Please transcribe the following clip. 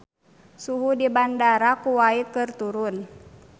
Suhu di Bandara Kuwait keur turun